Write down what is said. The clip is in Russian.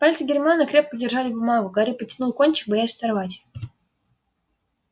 пальцы гермионы крепко держали бумагу гарри потянул кончик боясь оторвать